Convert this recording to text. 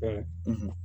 Ɛɛ